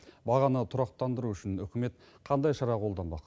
бағаны тұрақтандыру үшін үкімет қандай шара қолданбақ